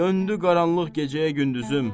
Döndü qaranlıq gecəyə gündüzüm.